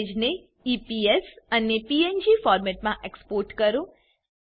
ઈમેજને ઇપીએસ અને પીએનજી ફોરમેટમાં એક્સપોર્ટ કરો